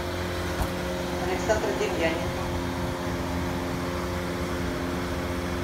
александра демьяненко